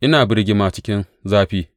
Ina birgima cikin zafi.